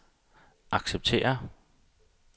acceptere